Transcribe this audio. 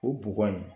O bɔgɔ in